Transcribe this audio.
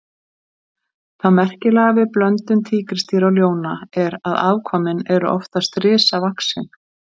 Það merkilega við blöndun tígrisdýra og ljóna er að afkvæmin eru oftast risavaxin.